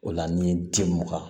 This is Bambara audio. O la ni den mun kan